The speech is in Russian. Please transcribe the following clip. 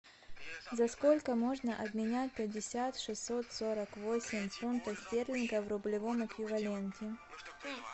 за сколько можно обменять пятьдесят шестьсот сорок восемь фунтов стерлингов в рублевом эквиваленте